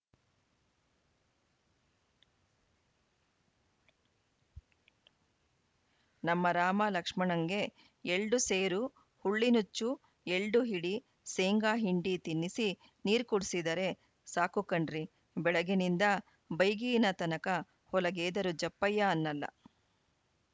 ನಮ್ಮ ರಾಮ ಲಕ್ಸಮಣಂಗೆ ಎಲ್ಡುಸೇರು ಹುಳ್ಳಿನುಚ್ಚು ಎಲ್ಡುಹಿಡಿ ಸೇಂಗಾಹಿಂಡಿ ತಿನ್ನಿಸಿ ನೀರುಕುಡ್ಸಿದರೆ ಸಾಕುಕಣ್ರಿ ಬೆಳಗಿನಿಂದ ಬೈಗಿನತನಕ ಹೊಲಗೇದರೂ ಜಪ್ಪಯ್ಯ ಅನ್ನಲ್ಲ